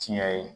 Tiɲɛ ye